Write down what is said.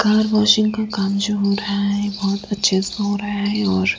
car washing का काम जो हो रहा है बहोत अच्छे से हो रहा है और --